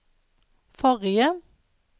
forrige